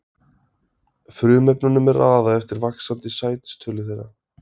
Frumefnunum er raðað eftir vaxandi sætistölu þeirra.